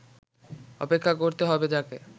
অপেক্ষা করতে হবে তাঁকে